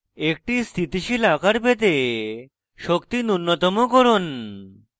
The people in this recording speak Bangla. একটি স্থিতিশীল আকার পেতে শক্তি নুন্যতম করুন